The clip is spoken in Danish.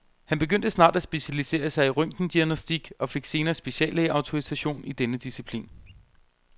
Han begyndte snart at specialisere sig i røntgendiagnostik og fik senere speciallægeautorisation i denne disciplin.